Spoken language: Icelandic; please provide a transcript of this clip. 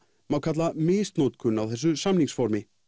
má kalla misnotkun á þessu samningsformi